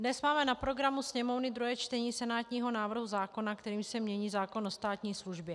Dnes máme na programu Sněmovny druhé čtení senátního návrhu zákona, kterým se mění zákon o státní službě.